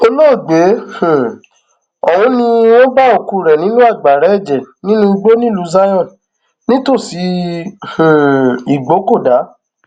olóògbé um ọhún ni wọn bá òkú rẹ nínú agbára ẹjẹ nínú igbó nílùú zion nítòsí um ìgbókódá